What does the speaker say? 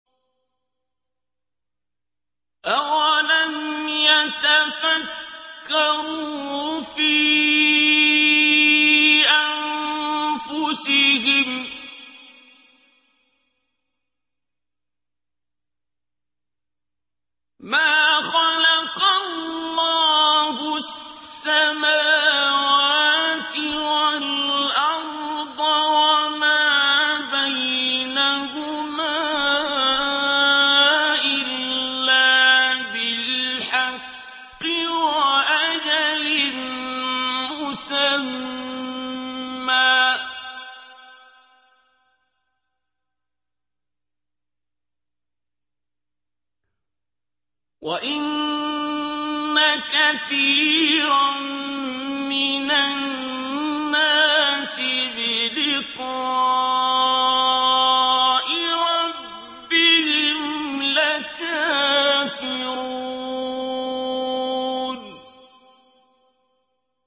أَوَلَمْ يَتَفَكَّرُوا فِي أَنفُسِهِم ۗ مَّا خَلَقَ اللَّهُ السَّمَاوَاتِ وَالْأَرْضَ وَمَا بَيْنَهُمَا إِلَّا بِالْحَقِّ وَأَجَلٍ مُّسَمًّى ۗ وَإِنَّ كَثِيرًا مِّنَ النَّاسِ بِلِقَاءِ رَبِّهِمْ لَكَافِرُونَ